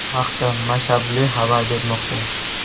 Bu haqda Mashable xabar bermoqda .